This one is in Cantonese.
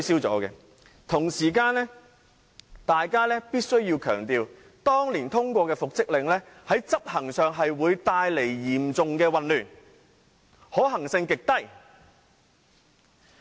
我必須強調，當年通過的復職令，在執行上會嚴重混亂，極難執行。